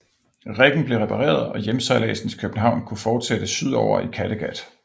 Riggen blev repareret og hjemsejladsen til København kunne fortsætte sydover i Kattegat